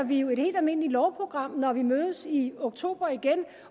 vi jo et helt almindeligt lovprogram når vi mødes i oktober igen